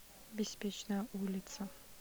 беспечная улица